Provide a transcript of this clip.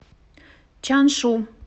чаншу